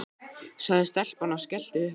sagði stelpan og skellti upp úr.